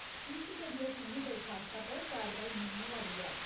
इस करियै तुं'दी दरखास्ता पर कारवाई नेईं होआ दी ऐ।